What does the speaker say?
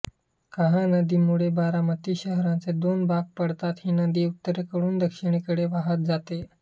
कहा नदीमुळे बारामती शहराचे दोन भाग पडतात ही नदी उत्तरेकडून दक्षिणेकडे वहात जाते